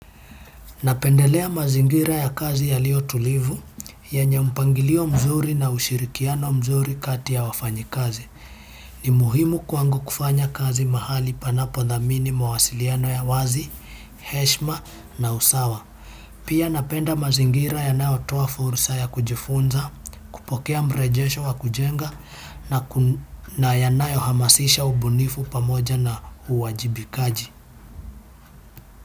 Napendelea mazingira ya kazi yalio tulivu, yanye mpangilio mzuri na ushirikiano mzuri kati ya wafanyi kazi. Ni muhimu kwangu kufanya kazi mahali panapo dhamini mawasiliano ya wazi, heshima na usawa. Pia napenda mazingira yanayo toa fursa ya kujifunza, kupokea mrejesho wa kujenga na yanayo hamasisha ubunifu pamoja na uwajibikaji.